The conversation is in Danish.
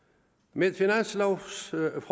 med finanslovforslaget